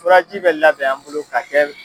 Furaji bɛ labɛn an bolo ka kɛ